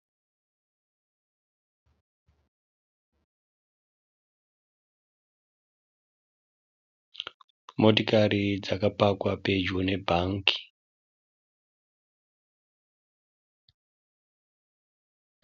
Motikari dzakapakwa pedyo nebhangi.